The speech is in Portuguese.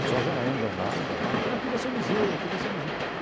Pessoal já anda lá, já olha e fala, ah aqui vai ser o museu, aqui vai ser o museu.